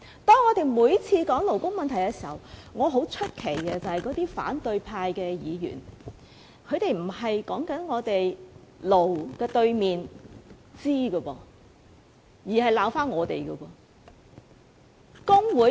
當我們每次討論勞工問題時，我很奇怪為甚麼那些反對派議員不是討論"勞"的對頭"資"，而是謾罵工聯會。